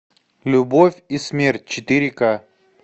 любовь и смерть четыре ка